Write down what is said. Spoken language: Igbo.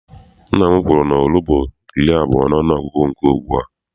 Nna m kwuru na oru bụ iri abụọ n'ọnụgụgụ nke ugbua.